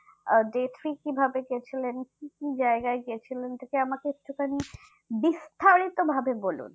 আহ কিভাবে গেছিলেন কি কি জায়গায় গেছিলেন যদি আমাকে একটু খানিক বিস্তারিত ভাবে বলুন